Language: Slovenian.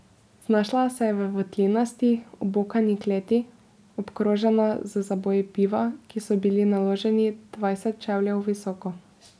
Znašla se je v votlinasti obokani kleti, obkrožena z zaboji piva, ki so bili naloženi dvajset čevljev visoko.